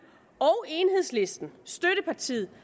og enhedslisten støttepartiet